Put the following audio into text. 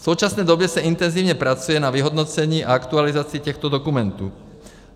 V současné době se intenzivně pracuje na vyhodnocení a aktualizaci těchto dokumentů.